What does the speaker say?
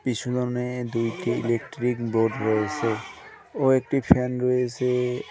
পিছুওনে দুইটি electric board রয়েছে ও একটি ফ্যান রয়েছে ও--